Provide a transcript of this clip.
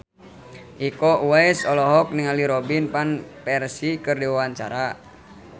Iko Uwais olohok ningali Robin Van Persie keur diwawancara